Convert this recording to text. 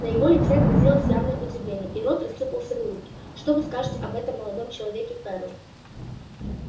на его лице отразилось явное удивление и рот рассыпался в улыбке что вы скажете об этом молодом человеке ферл